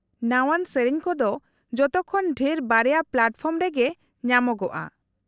-ᱱᱟᱶᱟᱱ ᱥᱮᱹᱨᱮᱹᱧ ᱠᱚᱫᱚ ᱡᱚᱛᱚ ᱠᱷᱚᱱ ᱰᱷᱮᱨ ᱵᱟᱨᱭᱟ ᱯᱞᱟᱴᱯᱷᱚᱨᱚᱢ ᱨᱮᱜᱮ ᱧᱟᱢᱚᱜᱼᱟ ᱾